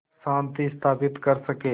शांति स्थापित कर सकें